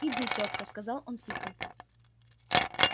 иди тётка сказал он тихо